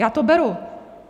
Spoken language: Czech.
Já to beru.